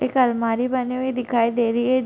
एक अलमारी बनी हुई दिखाई दे रही है । ज --